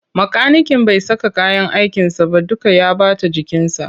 Makaniken bai saka kayyan aikinsa ba duka ya ɓata jikinsa.